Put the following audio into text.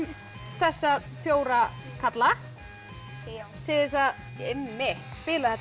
þessa fjóra karla til þess að spila þetta